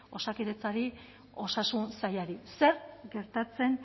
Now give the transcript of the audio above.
osakidetzari osasun sailari zer gertatzen